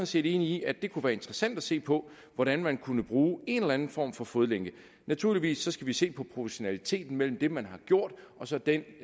set enige i at det kunne være interessant at se på hvordan man kunne bruge en eller anden form for fodlænke naturligvis skal vi se på proportionaliteten mellem det man har gjort og så den